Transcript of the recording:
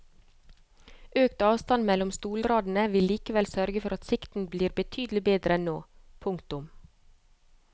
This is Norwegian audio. Økt avstand mellom stolradene vil likevel sørge for at sikten blir betydelig bedre enn nå. punktum